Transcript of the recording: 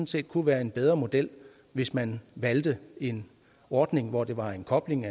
set kunne være en bedre model hvis man valgte en ordning hvor der var en kobling